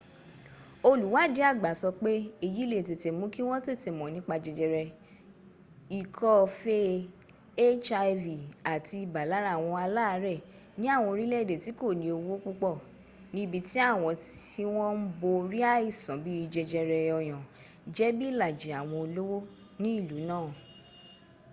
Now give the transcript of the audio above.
olùwádìí àgbà sọ pé èyí le è tètè mú kí wọn tètè mọ nípa jẹjẹrẹ ikọ́ fee hiv àti ibà lára àwọn aláàrẹ̀ ni àwọn orílẹ̀ èdè tí kòní owó púpọ̀ ní ibi tí àwọn tí wọ́n ń borí àìsàn bíì jẹjẹrẹ ọyàn jẹ bí ìlàjì àwọn olówó ní ìlú náà